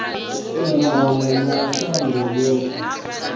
u mona na shango yoṱhe